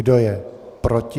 Kdo je proti?